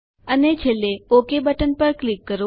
અને છેલ્લે okay button પર ક્લિક કરો